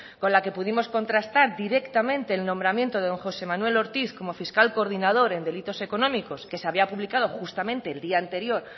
con la que pudimos contrastar directamente el nombramiento de don josé manuel ortiz como fiscal coordinador en delitos económicos que se había publicado justamente el día anterior